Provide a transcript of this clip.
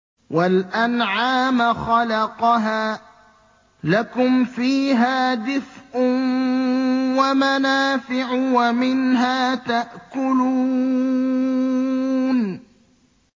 وَالْأَنْعَامَ خَلَقَهَا ۗ لَكُمْ فِيهَا دِفْءٌ وَمَنَافِعُ وَمِنْهَا تَأْكُلُونَ